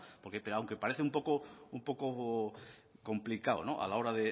porque aunque parece un poco complicado a la hora